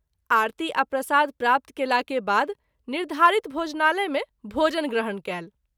आरती आ प्रसाद प्राप्त कएला के बाद निर्धारित भोजनालय मे भोजन ग्रहण कएल।